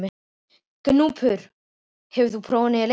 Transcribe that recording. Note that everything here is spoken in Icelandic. Gnúpur, hefur þú prófað nýja leikinn?